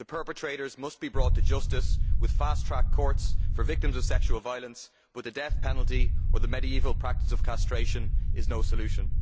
The perpetrators must be brought to justice with fast track courts for victims of sexual violence where the death penalty or the medieval practice of castration is no solution.